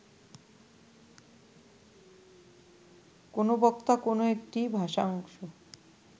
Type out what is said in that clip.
কোনো বক্তা কো্নো একটি ভাষাংশ